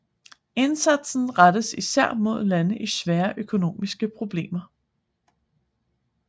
Indsatsen rettes især mod lande i svære økonomiske problemer